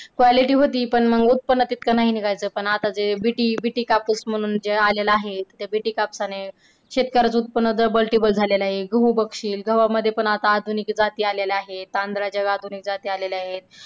quality होती पण उत्पन्न तेवढं नाही निघायचं पण आता जे BTBT कापूस म्हणून आलेला आहे त्या BT कापसाने शेतकऱ्याचे उत्पन्न double triple झालेला आहे. गहू बघशील गव्हामध्ये पण आधुनिक जाती आलेले आहे. तांदळाच्या आधुनिक जाती आलेल्या आहे.